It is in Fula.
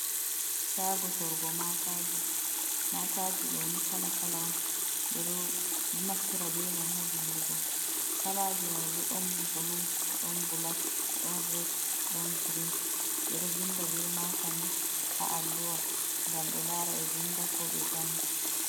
Shaago sorgo maakaji ɗo ni kala kala on ɓe ɗon naftira be mai ha vindugo, kalaaji mai bo ɗon bulu, ɗon bulak, ɗon red, ɗon girin ɓe ɗo vinda be maakani ha alluwa ngam ɓe lara ɓe vinda ko ɓe janga.